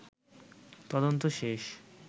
তদন্ত শেষ